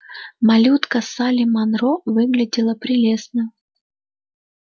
малютка салли манро выглядела прелестно